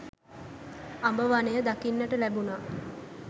අඹ වනය දකින්නට ලැබුණා.